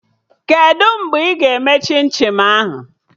Kedụ mgbe ị ga-eme chim chim ahụ?